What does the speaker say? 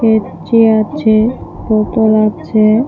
কেচি আছে বোতল আছে--